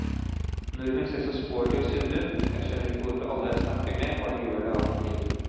Nordmenn ser så sporty og sunne ut, jeg skjønner ikke hvorfor alle jeg snakker med bare gjør det av og til.